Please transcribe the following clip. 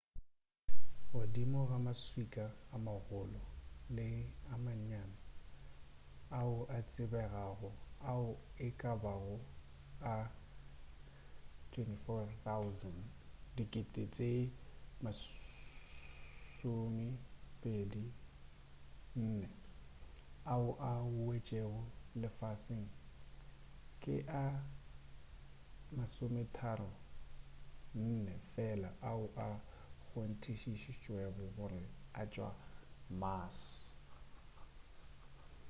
godimo ga maswika a magolo le a mannyane ao a tsebegago ao e ka bago a 24,000 ao a wetšego lefaseng ke a 34 fela ao a kgonthišišitšwego gore a tšwa mars